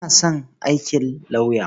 Ina son aikin lauyer.